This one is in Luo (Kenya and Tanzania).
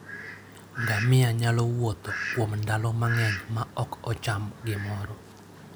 Ngamia nyalo wuotho kuom ndalo mang'eny maok ocham gimoro.